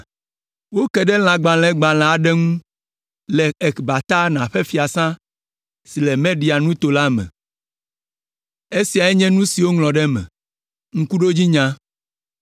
Woke ɖe lãgbalẽgbalẽ aɖe ŋu le Ekbatana ƒe fiasã si le Media nuto la me. Esiae nye nu si woŋlɔ ɖe eme: Ŋkuɖodzinya: